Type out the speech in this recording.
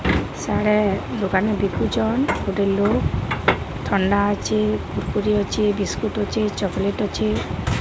ସାଡେ ଦୋକାନୀ ବିକୁଚନ୍। ଗୋଟେ ଲୋକ୍ ଥଣ୍ଡା ଅଛି କୁରକୁରି ଅଛି ବିସ୍କୁଟ୍ ଅଛି ଚକଲେଟ୍ ଅଛି।